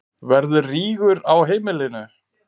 Verður rígur á heimilinu?